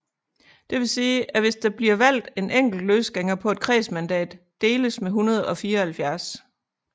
Det vil sige at hvis der bliver valgt en enkelt løsgænger på et kredsmandat deles med 174